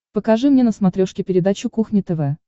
покажи мне на смотрешке передачу кухня тв